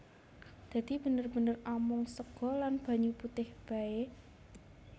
Dadi bener bener amung sega lan banyu putih baé